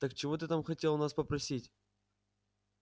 так чего ты там хотел у нас попросить